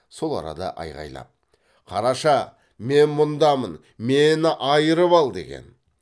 сол арада айғайлап қараша мен мұндамын мені айырып ал деген